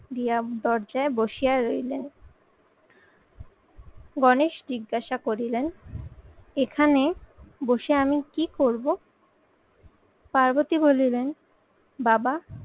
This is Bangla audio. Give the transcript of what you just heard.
দিয়া দরজায় বসিয়া রইলেন। গণেশ জিজ্ঞাসা করলেন এখানে বসে আমি কি করবো? পার্বতী বললেন বাবা